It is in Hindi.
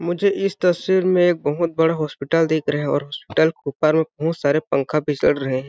मुझे इस तस्वीर में एक बहुत बड़ा हॉस्पिटल दिख रहा है और हॉस्पिटल के ऊपर मे बहुत सारे पंखे भी सड़ रहे है ।